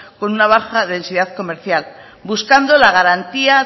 con una baja densidad comercial buscando la garantía